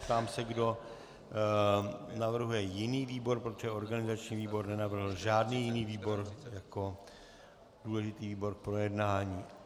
Ptám se, kdo navrhuje jiný výbor, protože organizační výbor nenavrhl žádný jiný výbor jako důležitý výbor k projednání.